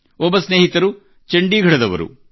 ಒಬ್ಬ ಸ್ನೇಹಿತರು ಚಂಡೀಗಡದವರಾಗಿದ್ದಾರೆ